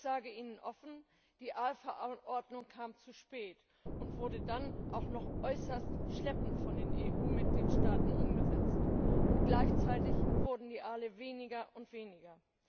Ich sage Ihnen offen, die Aalverordnung kam zu spät und wurde dann auch noch äußerst schleppend von den EU Mitgliedstaaten umgesetzt. Und gleichzeitig wurden die Aale weniger und weniger!